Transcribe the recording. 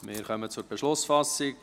Wir kommen zur Beschlussfassung.